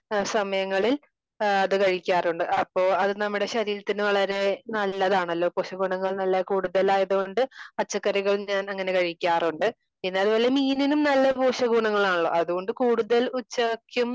സമയങ്ങളിൽ അത് കഴിക്കാറുണ്ട്. അപ്പോ അത് നമ്മുടെ ശരീരത്തിന് വളരെ നല്ലതാണല്ലോ? പോഷക ഗുണങ്ങൾ നല്ല കൂടുത്തലായത് കൊണ്ട് പച്ചക്കറികൾ ഞാൻ അങ്ങനെ കഴിക്കാറുണ്ട്. എന്നാലും മീനിലും നല്ല പോഷക ഗുണങ്ങളാണല്ലോ അത്കൊണ്ട് കൂടുതൽ ഉച്ചയ്ക്കും